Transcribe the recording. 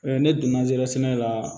ne donna zeriya sɛnɛ la